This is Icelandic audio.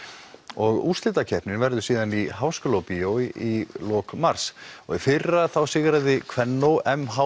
og úrslitakeppnin verður svo í Háskólabíó í lok mars í fyrra sigraði Kvennó m h